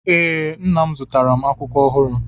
Ee, Nna m zụtara m akwụkwọ ọhụrụ.